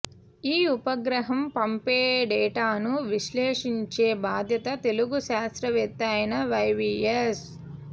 ఈ ఉపగ్రహం పంపేడేటాను విశ్లేషించే బాధ్యత తెలుగు శాస్త్రవేత్త అయిన వైవిఎస్